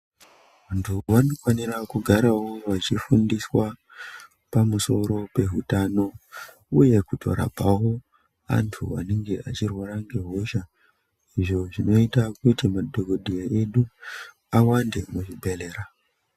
Vantu vanofanira kugarawo vachifundiswa ,pamusoro pehutano, uye kutorapawo antu anenge achirwara ngehosha ,izvo zvinoita kuti madhokodheya edu awande muzvibhedhlera.